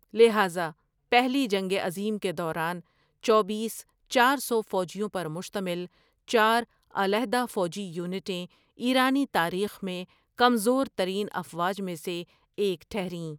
لہٰذا، پہلی جنگ عظیم کے دوران، چوبیس , چار سو فوجیوں پرمشتمل چار، علاحدہ، فوجی یونٹیں ایرانی تاریخ میں کمزور ترین افواج میں سے ایک ٹھریں۔